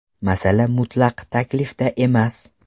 Masala mutlaq taklifda emas.